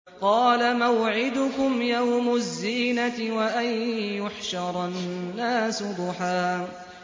قَالَ مَوْعِدُكُمْ يَوْمُ الزِّينَةِ وَأَن يُحْشَرَ النَّاسُ ضُحًى